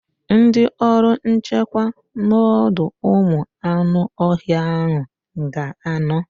Ndị ọrụ nchekwa n'ọdọụmụanụọhịa ahụ ga-anọ